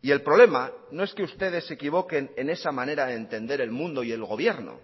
y el problema no es que ustedes se equivoquen en esa manera de entender el mundo y el gobierno